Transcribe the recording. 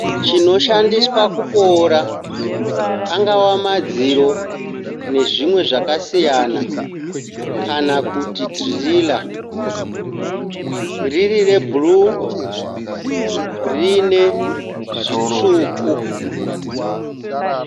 Chonoshandiswa kuboora angava madziro nezvimwe zvakasiyana kana kuti dhirira, riri rebhuruu riine zvitsvuku.